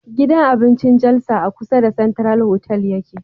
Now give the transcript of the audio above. Gidan abincin jalsa a kusa da central hotal yake